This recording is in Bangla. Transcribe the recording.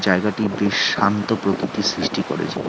একা শান্ত প্রকৃতি সৃষ্টি করেছে।